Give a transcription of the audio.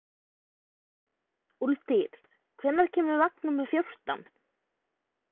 Úlftýr, hvenær kemur vagn númer fjórtán?